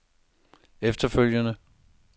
efterfølgende